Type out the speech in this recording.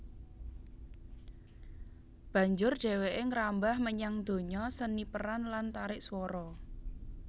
Banjur dhèwèké ngrambah menyang donya seni peran lan tarik swara